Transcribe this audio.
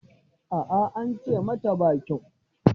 A'a an ce mata ba kyau.